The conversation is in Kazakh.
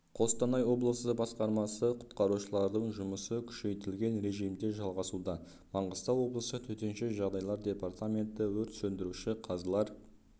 қостанай облысы басқармасы құтқарушылардың жұмысы күшейтілген режимде жалғасуда маңғыстау облысы төтенше жағдайлар департаменті өрт сөндіруші қазылар